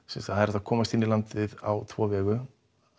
sem sagt hægt að komast inn í landið á tvo vegu